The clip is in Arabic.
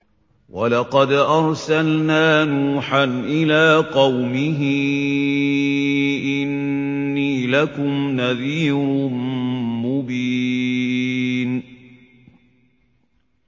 وَلَقَدْ أَرْسَلْنَا نُوحًا إِلَىٰ قَوْمِهِ إِنِّي لَكُمْ نَذِيرٌ مُّبِينٌ